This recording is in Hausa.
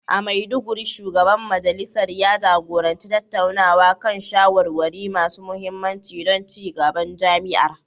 A Maiduguri, Shugaban Majalisar ya jagoranci tattaunawa kan shawarwari masu mahimmanci don ci gaban jami'ar.